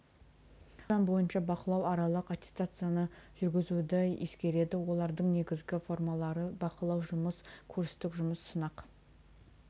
осы пән бойынша бақылау аралық аттестацияны жүргізуді ескереді олардың негізгі формалары бақылау жұмыс курстік жұмыс сынақ